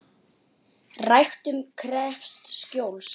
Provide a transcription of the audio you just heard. Ræktun krefst skjóls.